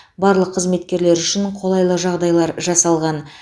барлық қызметкерлер үшін қолайлы жағдайлар жасалған